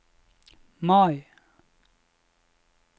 Mai